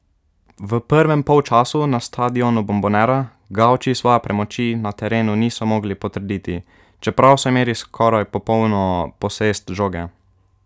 V prvem polčasu na stadionu Bombonera gavči svoje premoči na terenu niso mogli potrditi, čeprav so imeli skoraj popolno posest žoge.